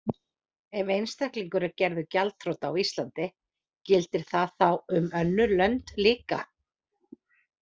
Ef einstaklingur er gerður gjaldþrota á Íslandi gildir það þá um önnur lönd líka?